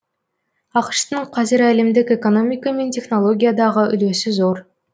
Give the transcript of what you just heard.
ақш тың қазір әлемдік экономика мен технологиядағы үлесі зор